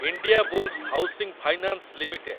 Indiabulls housing finance limited